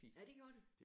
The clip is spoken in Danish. Ja det gjorde det